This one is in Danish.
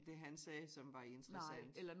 Det han sagde som var interessant